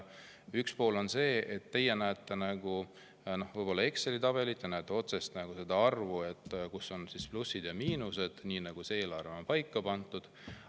Üks pool on see, et teie näete võib-olla Exceli tabelit, te näete otsesest, arvu, plusse ja miinuseid, nii nagu eelarves on paika pandud.